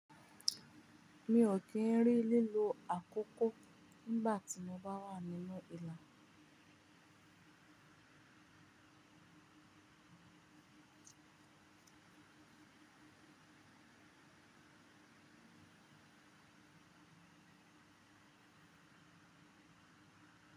Mi ò kí ń rí lílo àkókó tnígbà tí mo bá wà nínú ìlà.